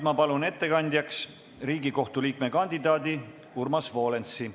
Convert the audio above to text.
Ma palun ettekandjaks Riigikohtu liikme kandidaadi Urmas Volensi.